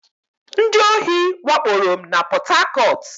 Ndị ohi wakporo m na Pọt Hakọt